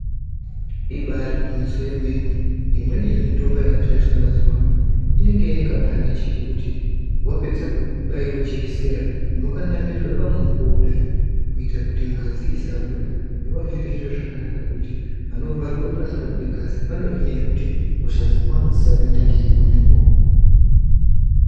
Ibari gwinyiso yemene. Imweni yemitombo yakushandiswa mazuwano inenge ine kabhandichi kekuti wapedza kubaiwa jekisera unokanamirwe pamuoko kudai kuita kuti ngazi isabuda zvinova zviri zviro zvakanaka kuti panovharwe pasingabudi ngazi pahohinahe kuti hosha dzakawanda dzisapinda ngeipopo.